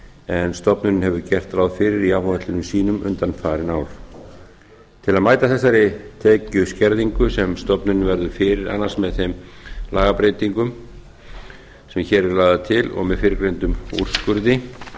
en stofnunin hefur gert ráð fyrir í áætlunum sínum undanfarin ár til að mæta þessari tekjuskerðingu sem stofnunin verður fyrir annars með þeim lagabreytingum sem hér eru lagðar til og með fyrrgreindum úrskurði